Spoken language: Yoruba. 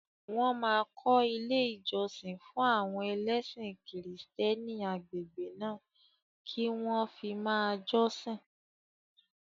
Wọ́n máa kọ́ ilé ìjọsìn fún àwọn ẹlẹ́sìn kìrìsìtẹ́nì agbègbè náà kí wọ́n fi máa jọ́sìn